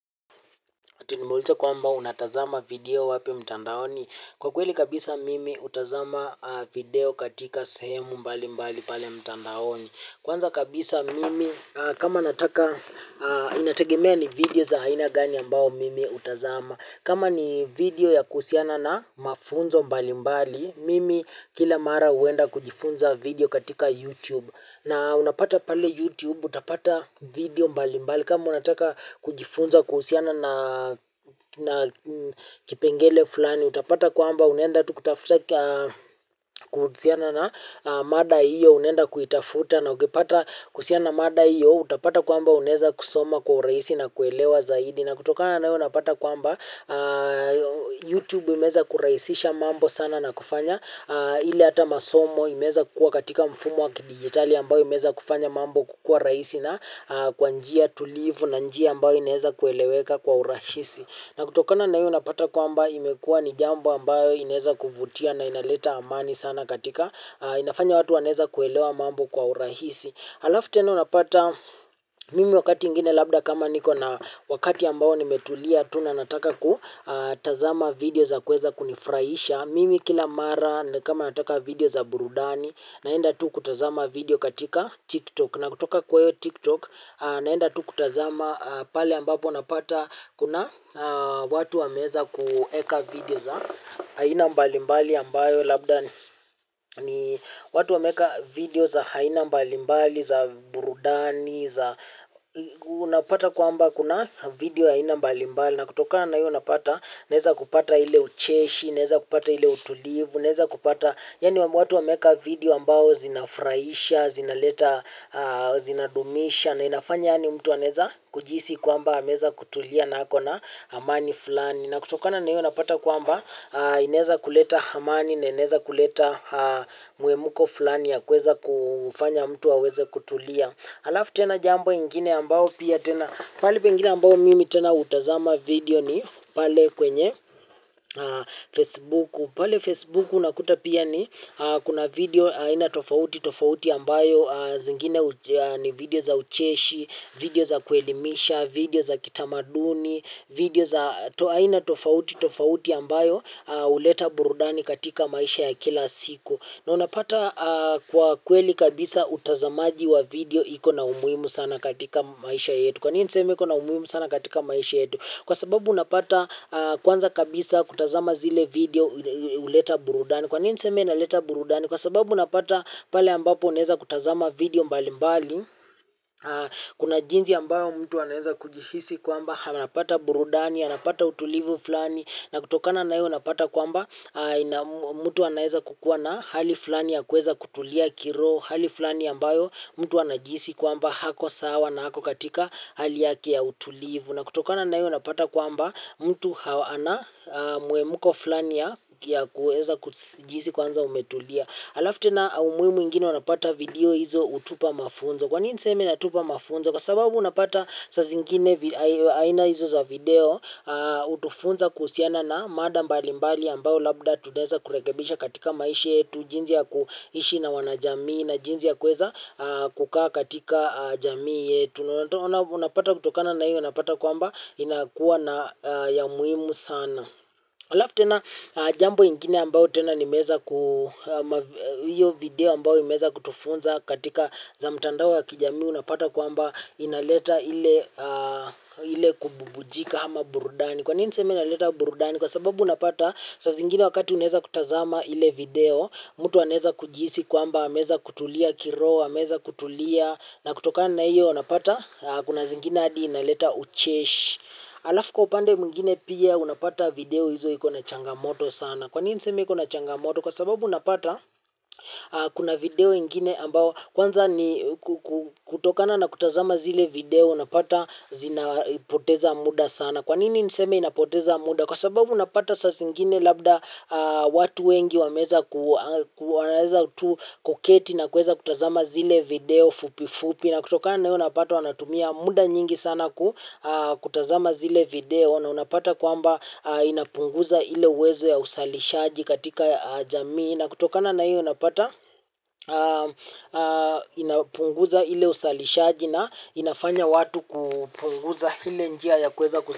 Ati nimeulizwa kwamba unatazama vidio wapi mtandaoni. Kwa kweli kabisa mimi hutazama video katika sehemu mbali mbali pale mtandaoni. Kwanza kabisa mimi kama nataka inategemea ni vidio za aina gani ambao mimi hutazama. Kama ni vidio ya kuhusiana na mafunzo mbali mbali, mimi kila mara uenda kujifunza vidio katika YouTube. Na unapata pale YouTube utapata vidio mbali mbali kama unataka kujifunza kuhusiana na kipengele fulani. Utapata kwamba unaenda tu kutafute kuhusiana na mada iyo unenda kuitafuta na ungepata kuhusiana na mada iyo utapata kwamba unaeza kusoma kwa rahisi na kuelewa zaidi. Na kutokana na hiyo unapata kwamba YouTube imeeza kurahisisha mambo sana na kufanya ile hata masomo imeza kukua katika mfumo wakidigitali ambayo imeza kufanya mambo kukua rahisi na kwanjia tulivu na njia ambayo inaeza kueleweka kwa urahisi. Na kutokana na hiyo unapata kwamba imekua ni jambo ambayo inaeza kuvutia na inaleta amani sana katika inafanya watu wanaeza kuelewa mambo kwa urahisi. Halafu tena unapata mimi wakati ingine labda kama niko na wakati ambao nimetulia tu nataka kutazama vidio za kueza kunifurahisha. Mimi kila mara kama nataka video za burudani naenda tu kutazama video katika tiktok na kutoka kwayo tiktok naenda tu kutazama pale ambapo napata kuna watu wameeza kueka vidio za aina mbalimbali ambayo labda ni watu wameeka vidio za haina mbalimbali, za burudani, za unapata kwamba kuna vidio aina mbalimbali. Na kutokana iyo unapata, naeza kupata ile ucheshi, naeza kupata ile utulivu, naeza kupata. Yani watu wameeka vidio ambao zinafurahisha, zina leta, zina dumisha na inafanya yani mtu anaeza kujihisi kwamba ameeza kutulia na ako na amani fulani na kutokana na hiyo unapata kwamba inaeza kuleta amani na ineza kuleta muemuko fulani ya kuweza kufanya mtu aweze kutulia. Alafu tena jambo ingine ambao pia tena pali pengine ambao mimi tena utazama vidio ni pale kwenye Facebook. Pale Facebook unakuta pia ni kuna vidio aina tofauti tofauti ambayo zingine ni vidio za ucheshi, vidio za kuelimisha, vidio za kitamaduni vidio za aina tofauti tofauti ambayo huleta burudani katika maisha ya kila siku na unapata kwa kweli kabisa utazamaji wa vidio iko na umuhimu sana katika maisha yetu. Kwa nini niseme iko na umuhimu sana katika maisha yetu. Kwa sababu unapata kwanza kabisa kutazama zile vidio huleta burudani kwa nini niseme na leta burudani kwa sababu unapata pale ambapo unaeza kutazama vidio mbali mbali kuna jinsi ambayo mtu anaeza kujihisi kwamba hanapata burudani anapata utulivu fulani na kutokana nayo unapata kwamba mtu anaeza kukuwa na hali fulani ya kueza kutulia kiroho hali fulani ambayo mtu anajihisi kwamba hako sawa na hako katika hali yake ya utulivu na kutokana na hiyo unapata kwamba mtu anamuemuko fulani ya ya kueza kujihisi kwanza umetulia alafu tena umuhimu ingine unapata video hizo utupa mafunzo, kwanini ni seme inatupa mafunzo. Kwa sababu unapata sa zingine aina hizo za video utufunza kusiana na mada mbali mbali ambao labda tunaeza kurekebisha katika maishi yetu. Jinsi ya kuishi na wanajamii na jinsi ya kuweza kukaa katika jamii yetu. Unapata kutokana na hiyo unapata kwamba inakuwa na ya muhimu sana. Alafu tena jambo ingine ambao tena nimeeza hiyo video imeeza kutufunza katika za mtandao wa kijamii unapata kwamba inaleta ile kububujika ama burudani. Kwa nini niseme inaleta burudani kwa sababu unapata saa zingine wakati unaeza kutazama ile video mtu anaeza kujihisi kwamba ameeza kutulia kiroho ameeza kutulia na kutokana na hiyo unapata kuna zingine hadi inaleta ucheshi. Alafu kwa upande mwingine pia unapata video hizo hiko na changamoto sana. Kwanini niseme iko na changamoto kwa sababu unapata kuna video ingine ambao kwanza ni kutokana na kutazama zile video unapata zina poteza muda sana. Kwanini niseme inapoteza muda kwa sababu unapata sazingine labda watu wengi wameeza tu kuketi na kuweza kutazama zile video fupi fupi. Na kutokana na hiyo unapata wanatumia muda nyingi sana kutazama zile video na unapata kwamba inapunguza ile uwezo ya uzalishaji katika jamii. Na kutokana na hiyo unapata inapunguza ile uzalishaji na inafanya watu kupunguza hile njia ya kuweza ku.